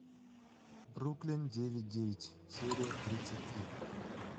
бруклин девять девять серия тридцать три